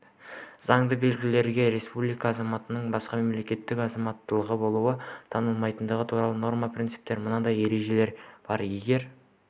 заңда белгіленген республика азаматының басқа мемлекеттің азаматтығына болуы танылмайтындығы туралы норма-принципте мынадай ереже бар егер